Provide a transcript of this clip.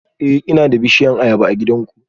Eh ina da bishiyar ayaba a gidanku